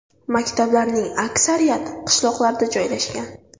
Maktablarning aksariyati qishloqlarda joylashgan.